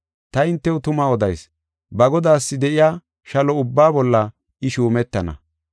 Ta hintew tuma odayis; ba godaas de7iya shalo ubbaa bolla I, shuumetana.